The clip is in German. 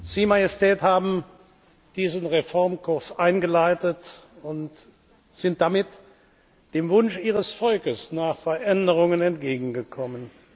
Sie, Majestät, haben diesen Reformkurs eingeleitet und sind damit dem Wunsch Ihres Volkes nach Veränderungen entgegengekommen.